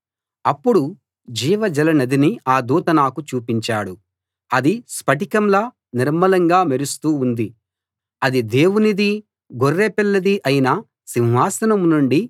అప్పుడు జీవజలనదిని ఆ దూత నాకు చూపించాడు అది స్ఫటికంలా నిర్మలంగా మెరుస్తూ ఉంది అది దేవునిదీ గొర్రెపిల్లదీ అయిన సింహాసనం నుండీ